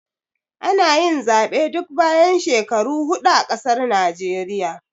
Ana yin Zaɓe duk bayan shekaru hudu a ƙasar Naijeriya